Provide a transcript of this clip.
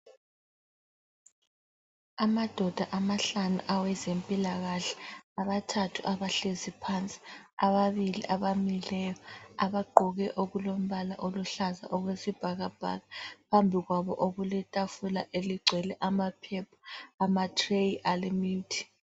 Amadoda amahlanu awezempilakahle abathathu abahlezi phansi ababili abamileyo abagqqoke okulombala oluhlaza okwesibhakabhaka phambili kwabo okuletafula eligcwele amaphepha amatreyi alemithi.